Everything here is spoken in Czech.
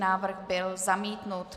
Návrh byl zamítnut.